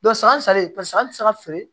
san sale paseke an ti se ka feere